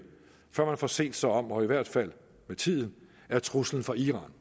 før man får set sig om og i hvert fald med tiden er truslen fra iran